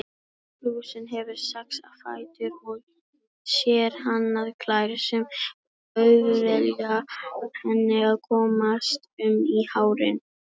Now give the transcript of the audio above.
Lúsin hefur sex fætur og sérhannaðar klær sem auðvelda henni að komast um í hárinu.